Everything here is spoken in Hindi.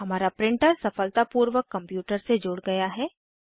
हमारा प्रिंटर सफलतापूर्वक कंप्यूटर से जुड़ गया है